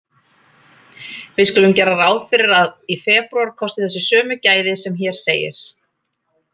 Við skulum gera ráð fyrir að í febrúar kosti þessi sömu gæði sem hér segir: